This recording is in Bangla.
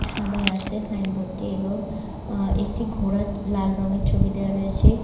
সাদাই আছে সাইন বোর্ড টি এবং আ একটি ঘোড়ার লাল রঙের ছবি দেয়া রয়েছে।